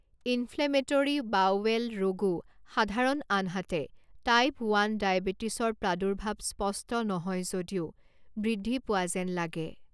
Inflammatory bowel ৰোগো সাধাৰণ আনহাতে টাইপ ওৱান ডায়েবেটিছৰ প্ৰাদুৰ্ভাৱ স্পষ্ট নহয় যদিও বৃদ্ধি পোৱা যেন লাগে।